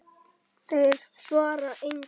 Þeir svara engu.